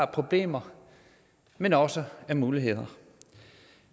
problemer men også af muligheder